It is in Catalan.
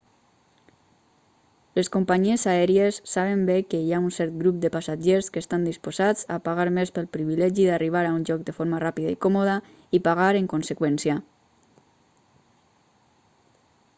les companyies aèries saben bé que hi ha un cert grup de passatgers que estan disposats a pagar més pel privilegi d'arribar a un lloc de forma ràpida i còmoda i pagar en conseqüència